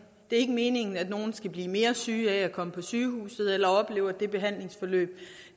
ikke meningen at nogen skal blive mere syge af at komme på sygehuset eller oplever at det behandlingsforløb